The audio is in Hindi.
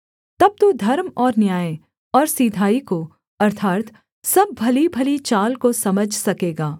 तब तू धर्म और न्याय और सिधाई को अर्थात् सब भलीभली चाल को समझ सकेगा